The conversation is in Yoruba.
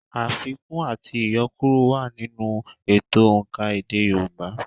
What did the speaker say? Àfikún àti iyọkuro wà nínú ètò òǹkà èdè Yorùbá